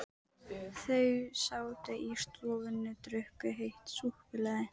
Þau sátu í stofunni og drukku heitt súkkulaði.